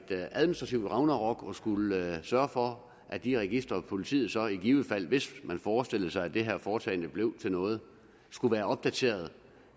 administrativt ragnarok at skulle sørge for at de registre som politiet så i givet fald hvis man forestillede sig at det her forslag blev til noget skulle være opdateret